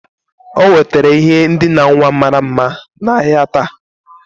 O nwetara ihe ndina nwa mara mma n'ahịa taa